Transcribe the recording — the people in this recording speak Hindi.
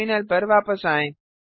टर्मिनल पर वापस आएं